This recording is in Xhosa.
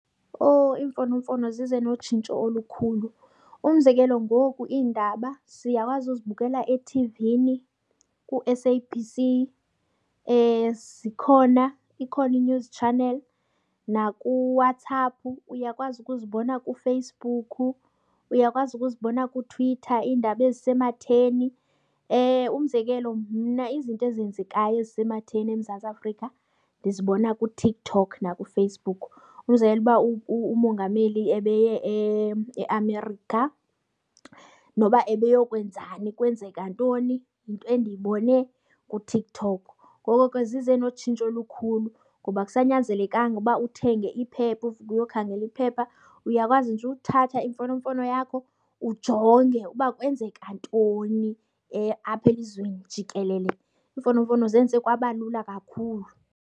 Owu, iimfonomfono zize notshintsho olukhulu. Umzekelo ngoku iindaba siyakwazi uzibukela ethivini ku-S_A_B_C. Zikhona, ikhona i-news channel nakuWhatsApp, uyakwazi ukuzibona kuFacebook, uyakwazi ukuzibona kuTwitter iindaba ezisematheni. Umzekelo mna izinto ezenzekayo ezisematheni eMzantsi Afrika ndizibona kuTikTok nakuFacebook. Umzekelo uba uMongameli ebeye eAmerica noba ebeyokwenzani, kwenzeka ntoni, yinto endiyibone kuTikTok. Ngoko ke zize notshintsho olukhulu ngoba akusanyanzelekanga ukuba uthenge iphepha uvuke uyokhangela iphepha. Uyakwazi nje uthatha imfonomfono yakho ujonge uba kwenzeka ntoni apha elizweni jikelele. Iimfonomfono zenze kwaba lula kakhulu.